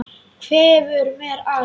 Hverfur mér allt.